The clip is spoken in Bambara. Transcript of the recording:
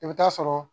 I bɛ taa sɔrɔ